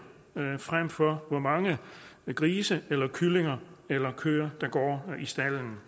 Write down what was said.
frem for hvor mange grise eller kyllinger eller køer der går i stalden